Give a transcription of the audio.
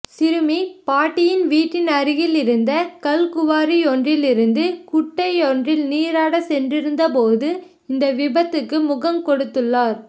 சிறுமி பாட்டியின் வீட்டின் அருகில் இருந்த கல் குவாரியொன்றில் இருந்து குட்டையொன்றில் நீராட சென்றிருந்த போது இந்த விபத்துக்கு முகங்கொடுத்துள்ளார்